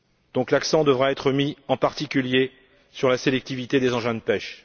Donc, l'accent devra être mis, en particulier, sur la sélectivité des engins de pêche.